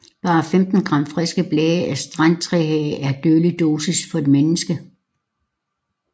Bare 15 gram friske blade af strandtrehage er dødelig dosis for et menneske